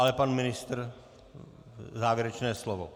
Ale pan ministr - závěrečné slovo.